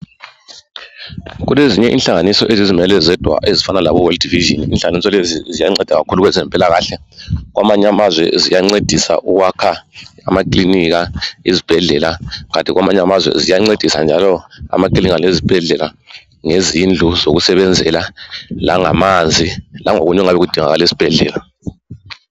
Kulezinye inhlanganiso ezizimele zodwa, ezifana laboWorld vision. Inhlanganiso lezi ziyanceda kakhulu kwezempilakahle. Kwamanye amazwe ziyancedisa ukwakha amakilinika, izibhedlela. Kanti kwamanye amazwe ziyancedisa njalo amakilinika, lezibhedlela ngezindlu zokusebenzela, langamanzi. Langokunye okungabe kudingakala esibhedlela.